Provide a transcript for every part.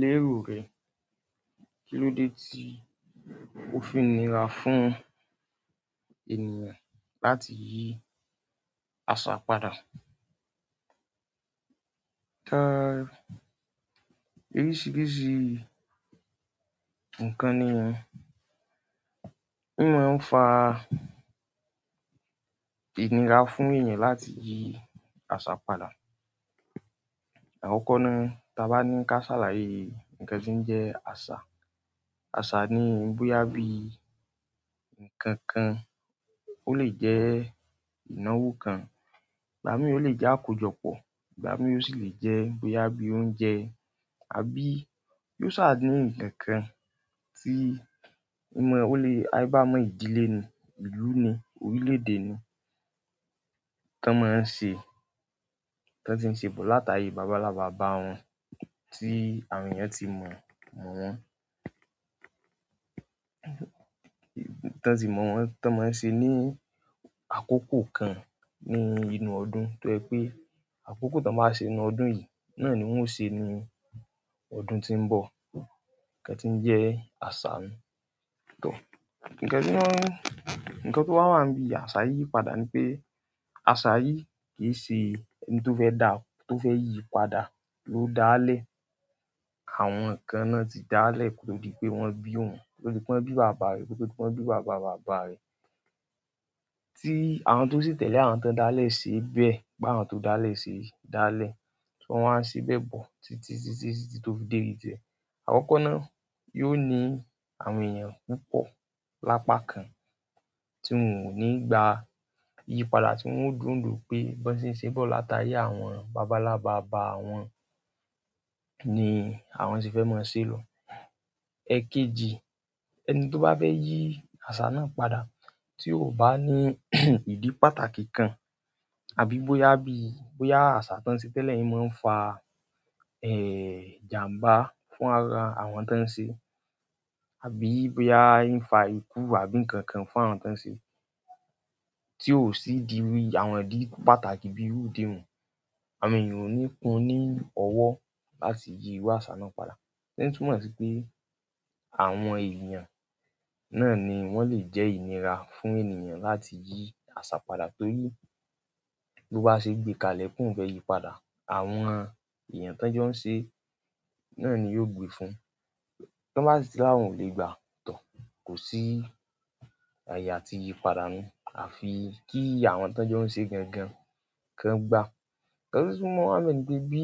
Lérò rẹ, kilódé tí ó fi n nira fún ènìyàn láti yí àṣà padà? Oríṣìíríṣìí ǹkan ni ìyan. Ní mọ ń fa inira fún ènìyàn láti yí àṣà padà. Àkọ́lọ́ ná, ta bá ní ká ṣàlàyé ǹkán tí ń jẹ́ àṣà. Àṣà ni bóyá bíi ǹkankan, ó lè jẹ́ ìnáwó kan, ìgbà míì ò lè jẹ́ àkójọpọ̀, ìgbà míì ó sì lè jẹ́ bóyá bíi oúnjẹ. Àbí yóò sá à ní ǹkankan tí ó lè, aìbámọ ìdílé ni, ìlú ni, orílédé ni, tí wọ́n ti ń ṣe bọ̀ látayé baba ńlá baba wọn tí àwọn èèyàn ti mọ̀ mọ̀ wọ́n. Tí wọ́n ti mọ̀ wọ́n tí wọ́n máa ń ṣe ní àkókò kan ní inú ọdún tó jẹ pé àkókò tí wọ́n bá ṣe ní ọdún yìí náà ni wón o ṣe ní ọdún tí ń bọ̀. Ǹkan tí ń jẹ́ àṣà nu. Ǹkan tó wá wà níbi àṣà yíyí padà ni pé àṣà yìí kì í ṣe ihun tó fẹ́ dá ó, tó fẹ́ yí padà ló dáálẹ̀. Àwọn kan náà ti dáálẹ̀ kó tó di pé wọ́n bí wón, níkó tó di pé wọ́n bí bàbá rẹ̀, kò tó di pé wọ́n bí bàbá bàbá rẹ̀. Tí àwọn tó sì tẹ̀lé àwọn tó dáalẹ̀ sí bẹ́ẹ̀ bá àwọn tó dáalẹ̀ ṣe dáalẹ̀. Wọ́n wá ń ṣe bẹ́ẹ̀ bọ̀ títí títí títí tó dé ibi ti ẹ̀. Àkọ́lọ́ ná yóò ní àwọn èèyàn púpọ̀ lápákan tí wọn ò ní gba yíyí padà tí wọ́n ó dúró ní ìdúró pé bí wọ́n ti ń ṣe bọ̀ látayé àwọn baba ńlá baba àwọn ni àwọn ṣe fẹ́ máa ṣe lọ. Ẹ̀kejì ẹni tó bá fẹ́ yí àṣà náà padà tí ò bá ní ìdí pàtàkì kan àbí bóyá bí, bóyá àṣà tí wọ́n ṣe tẹ́lẹ̀ yìí máa ń fa, eh, ìjàǹbá fún ara àwọn tí wọ́n ṣe, àbí bóyá ń fa ikú àbí ǹkan kan fún àwọn tí wọ́n ṣe tí ò sì di irú àwọn ìdí pàtàkì bí irú ìdí hun. Àwọn èèyàn ò ní kun ní ọwọ́ láti yí irú àṣà náà padà. Ín túmọ̀ sí pé àwọn èèyàn náà ni wọ́n lè jẹ́ inira fún ènìyàn láti yí àṣà padà torí bó bá ṣe gbé kalẹ̀ pé òun fẹ́ yí padà, àwọn èèyàn tí wọ́n jọ́ ń ṣẹé náà ni yóò gbe fún un. Tí wọ́n bá sì tí wọ́n ò lè gba tọ̀, kò sí àyè àti yí padà nu. À fi kí àwọn tí wọ́n jọ́ ń ṣeé gangan kan gbà. Ṣé o túmọ̀ mọ̀ ní pé bí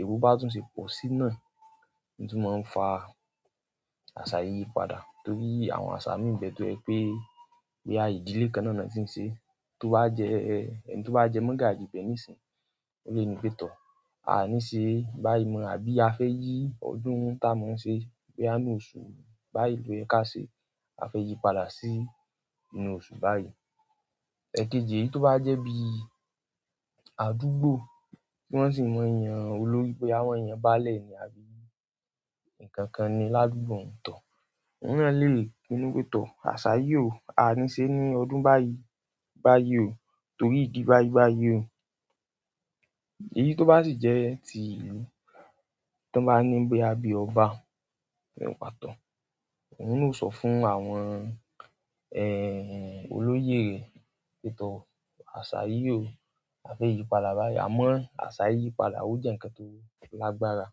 èbú bá tún ṣe pọ̀ sí náà ni tún máa ń fa àṣà yíyí padà torí àwọn àṣà míì n bẹ tó jẹ́ pé bóyá ìdílé kan náà ni wọ́n tí ń ṣe, tó bá jẹ ẹni tó bá jẹ́ mọ́gàjí ibẹ̀ níìsín, ó lè ni pé, "Tọ̀, a ní ṣe báyìí mọ̀", àbí "A fẹ́ yí ọdún tá a máa ń ṣe báyìí ní oṣù báyìí lọ́yẹ ká ṣe é. A fẹ́ yí padà sí inú oṣù báyìí". Ẹ̀kejì èyí tó bá jẹ́ bí àdúgbò tí wọ́n sì n mọ yan olórí boya wọ́n yan báálẹ̀ ni, àbí ǹkan kan ni ládùúgbò tọ̀, òun náà lè ni pé, "Tọ̀, àṣà yìí ò, a ní ṣe ní ọdún báyìí, báyìí ò" torí ìdí báyìí báyìí ò. Èyí tó bá sì jẹ́ ti ìlú tí wọ́n bá ní bóyá bí ọba ní pàtó, òun náà ó sọ fún àwọn, eh, olóyè rẹ̀ pé, "Tọ̀, àṣà yìí ò, a fẹ́ yí padà báyìí" àmọ́ àṣà yíyí padà ó jẹ́ ǹkan tó lágbára.